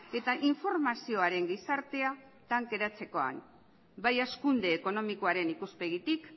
eta informazioaren gizartea tankeratzekoan bai hazkunde ekonomikoaren ikuspegitik